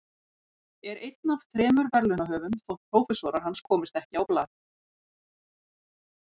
Er einn af þremur verðlaunahöfum þótt prófessorar hans komist ekki á blað.